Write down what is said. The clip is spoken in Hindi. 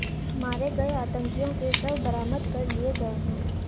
मारे गये आतंकियों के शव बरामद कर लिए गये हैं